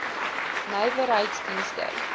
nywerheiddienste